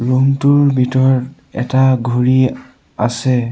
Room টোৰ ভিতৰত এটা ঘুড়ী আছে।